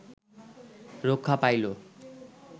রক্ষা পাইল